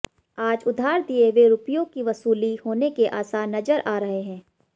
आज उधार दिए हुए रुपयों की वसूली होने के आसार नजर आ रहे हैं